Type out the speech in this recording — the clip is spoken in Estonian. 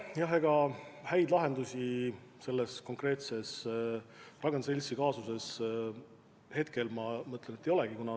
Jah, ega häid lahendusi selles konkreetses Ragn-Sellsi kaasuses ei olegi.